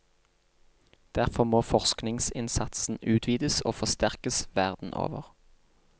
Derfor må forskningsinnsatsen utvides og forsterkes verden over.